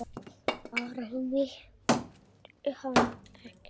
Ari virti hann ekki svars.